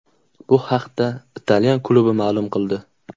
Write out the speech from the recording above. Bu haqda italyan klubi ma’lum qildi .